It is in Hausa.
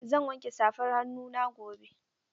Zan wanke safar hannuna gobe.